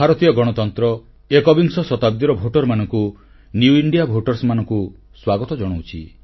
ଭାରତୀୟ ଗଣତନ୍ତ୍ର ଏକବିଂଶ ଶତାବ୍ଦୀର ଭୋଟରମାନଙ୍କୁ ନ୍ୟୁ ଇଣ୍ଡିଆ Votersନିଉ ଇଣ୍ଡିଆ ଭୋଟରମାନଙ୍କୁ ସ୍ୱାଗତ ଜଣାଉଛି